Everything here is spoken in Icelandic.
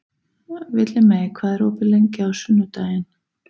Villimey, hvað er opið lengi á sunnudaginn?